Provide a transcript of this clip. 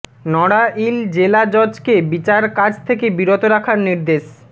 নড়াইল জেলা জজকে বিচার কাজ থেকে বিরত রাখার নির্দেশ